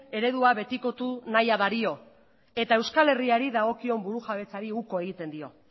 eredua betikotu nahia dario eta euskal herriari dagokion burujabetzari uko egiten dio